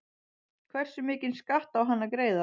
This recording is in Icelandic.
Hversu mikinn skatt á hann að greiða?